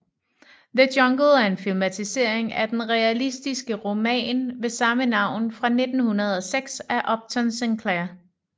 The Jungle er en filmatisering af den realistiske roman med samme navn fra 1906 af Upton Sinclair